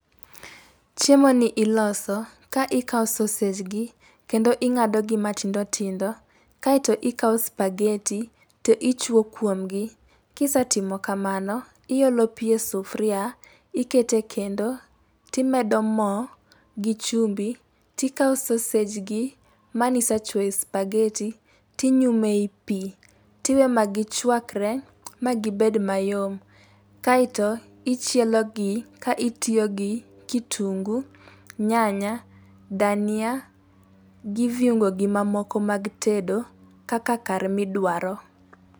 chiemo ni iloso ka ikawo sausage gi kendo ing'ado gi matindo tindo kae to ikawo supageti to ichuo kuom gi ,kisetimo kamano ,iolo pi e sufuria ikete kendo timedo mo gi chumbi tikawo sausage gi mani sechuoyo e supageti tinyume pi tiwe magi chuakre magi bed mayom kae to ichielo gi ka itiyo gi kitungu nyanya dhania gi viuongo gi mamoko mag tedo kaka kar midwaro